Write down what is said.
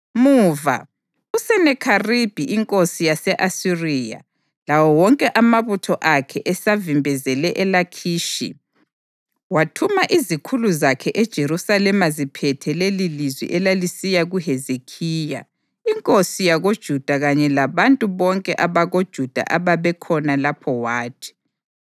Muva, uSenakheribhi inkosi yase-Asiriya lawo wonke amabutho akhe esavimbezele eLakhishi, wathuma izikhulu zakhe eJerusalema ziphethe lelilizwi elalisiya kuHezekhiya inkosi yakoJuda kanye labantu bonke abakoJuda abebekhona lapho wathi: